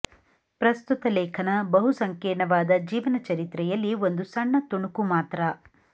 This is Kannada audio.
ಪ್ರಸ್ತುತ ಲೇಖನ ಬಹುಸಂಕೀರ್ಣವಾದ ಜೀವನ ಚರಿತ್ರೆಯಲ್ಲಿ ಒಂದು ಸಣ್ಣ ತುಣುಕು ಮಾತ್ರ